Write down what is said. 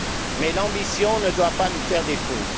Mais l'ambition ne doit pas nous faire défaut.